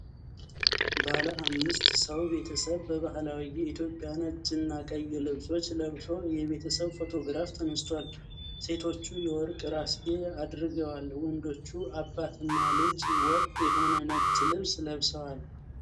ባለ አምስት ሰው ቤተሰብ በባህላዊ የኢትዮጵያ ነጭና ቀይ ልብሶች ለብሶ የቤተሰብ ፎቶግራፍ ተነስቷል። ሴቶቹ የወርቅ ራስጌ አድርገዋል። ወንዶቹ አባትና ልጅ ወጥ የሆነ ነጭ ልብስ ለብሰዋል።